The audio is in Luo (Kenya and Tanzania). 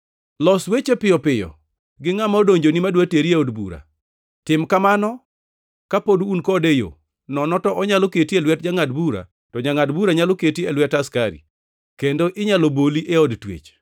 “Los weche piyo piyo gi ngʼama odonjoni madwa teri e od bura. Tim kamano kapod un kode e yo, nono to onyalo keti e lwet jangʼad bura to jangʼad bura nyalo keti e lwet askari, kendo inyalo boli e od twech.